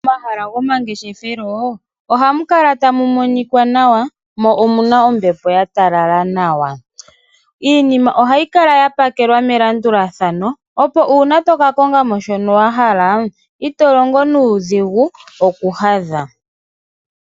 Momahala gomangeshefelo ohamu kala tamu monikwa nawa, mo omuna ombepo ya talala nawa. Iinima ohayi kala ya pakelwa melandulathano opo uuna toka konga mo shono wa hala, ito longo nuudhigu okuhadha.